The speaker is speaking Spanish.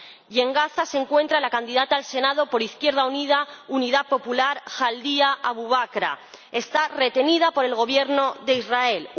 Y, en Gaza, se encuentra la candidata al Senado español por Izquierda Unida Unidad Popular Jaldía Abubakra está retenida por el Gobierno de Israel.